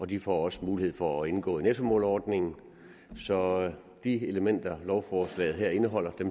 de får også mulighed for at indgå i nettomålerordningen så de elementer lovforslaget her indeholder